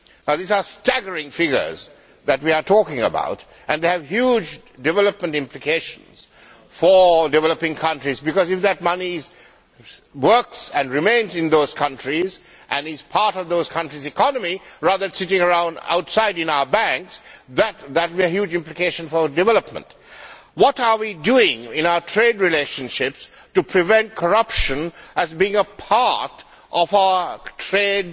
These are staggering figures that we are talking about and they have huge development implications for developing countries, because if that money were to work and remain in those countries, and were a part of those countries' economies rather than sitting around outside them in our banks, that would have huge implications for development. What are we doing in our trade relationships to prevent corruption from being a part of our trade